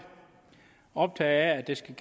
optaget af at det skal